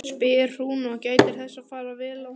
spyr hún og gætir þess að fara vel að honum.